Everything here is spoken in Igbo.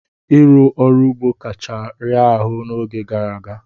Ịrụ ọrụ ugbo kacha raa ahụ n'oge gara aga.